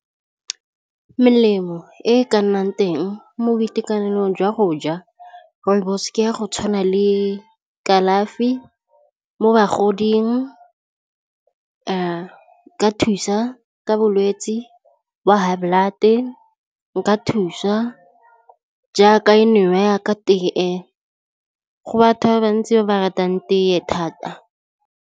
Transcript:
Melemo e ka nnang teng mo boitekanelong jwa go ja rooibos ke ya go tshwana le kalafi mo bagoding , e ka thusa ka bolwetsi wa high blood, e nka thusa jaaka nwewa yaaka tee go batho ba bantsi ba ba ratang tee thata.